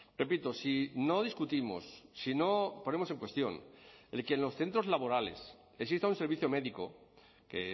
repito si no discutimos si no ponemos en cuestión el que en los centros laborales exista un servicio médico que